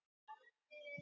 Ég er kaffikona.